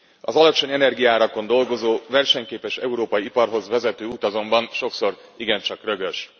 Az alacsony energiaárakon dolgozó versenyképes európai iparhoz vezető út azonban sokszor igen csak rögös.